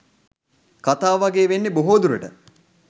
කතාව වගේ වෙන්න බොහෝ දුරට